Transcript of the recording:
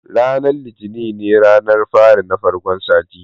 Ranar litini ne ranar fari na farkon sati